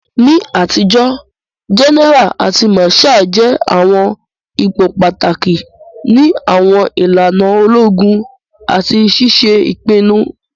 Ni atijo, gẹ́nẹ́ra àti màsháà jẹ àwọn ipò pàtàkì ni àwọn ìlànà ológun àti ṣiṣe ìpinnu.